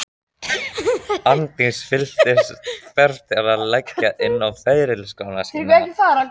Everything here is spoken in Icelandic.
Arndís fylltist þörf til að leggja inn á ferilskrána sína.